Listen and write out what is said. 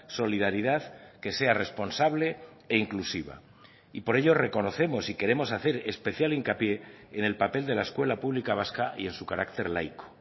solidaridad que sea responsable e inclusiva y por ello reconocemos y queremos hacer especial hincapié en el papel de la escuela pública vasca y en su carácter laico